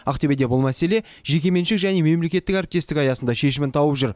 ақтөбеде бұл мәселе жекеменшік және мемлекеттік әріптестік аясында шешімін тауып жүр